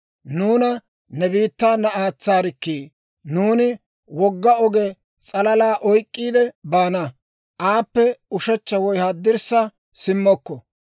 ‹Nuuna ne biittaana aatsaarikkii! Nuuni wogga oge s'alaa oyk'k'iide baana; aappe ushechcha woy haddirssa simmokko.